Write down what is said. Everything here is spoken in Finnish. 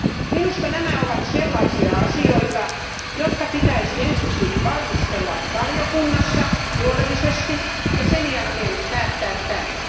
Minusta nämä ovat sellaisia asioita, jotka pitäisi ensiksi valmistella valiokunnassa huolellisesti ja sen jälkeen päättää täällä.